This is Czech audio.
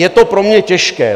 Je to pro mě těžké.